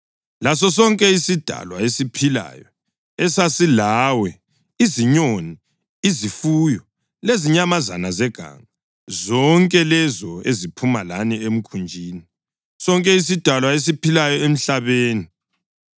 lasosonke isidalwa esiphilayo esasilawe, izinyoni, izifuyo lezinyamazana zeganga, zonke lezo ezaphuma lani emkhunjini, sonke isidalwa esiphilayo emhlabeni.